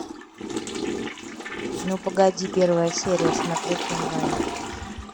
ну погоди первая серия смотреть онлайн